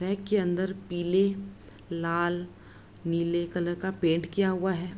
Flat के अंदर पीले लाल नीले कलर का पेंट किया हुआ है।